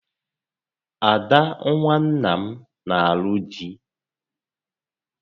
Ada nwa nna m nà alụ di